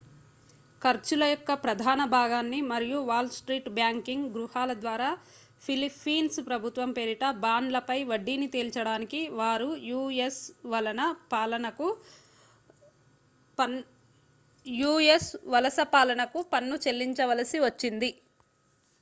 ఖర్చుల యొక్క ప్రధాన భాగాన్ని మరియు వాల్ స్ట్రీట్ బ్యాంకింగ్ గృహాల ద్వారా ఫిలిప్పీన్స్ ప్రభుత్వం పేరిట బాండ్లపై వడ్డీని తేల్చడానికి వారు యూ.ఎస్ వలస పాలనకు పన్ను చెల్లించవలసి వచ్చింది